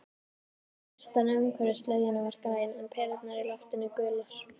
Birtan umhverfis laugina var græn, en perurnar í loftinu gular.